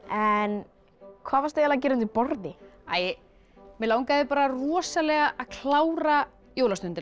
en hvað varstu eiginlega að gera undir borði mig langaði rosalega að klára